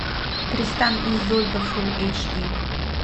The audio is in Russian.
тристан и изольда фул эйч ди